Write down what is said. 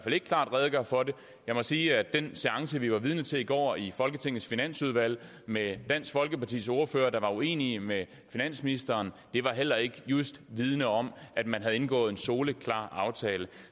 ikke klart redegøre for det jeg må sige at den seance vi var vidne til i går i folketingets finansudvalg med dansk folkepartis ordfører der var uenig med finansministeren heller ikke just vidnede om at man havde indgået en soleklar aftale